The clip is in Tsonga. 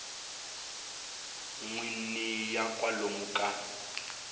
n wini ya kwalomu ka